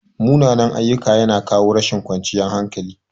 Munanan-ayyuka yana kawo rashin ƙwanciyan hankali.